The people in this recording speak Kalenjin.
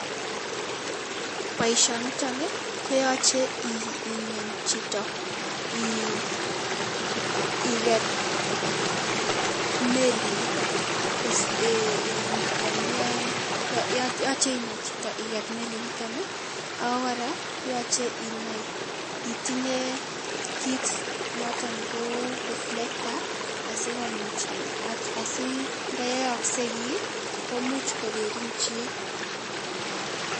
Boisionito koyache ingen chito iket melinito koyon iyae yoche inai chito iket melinito ako kora yochei inai itinye kit noton ko reflector asinda yooksei kiiy komuch kokeerin chi.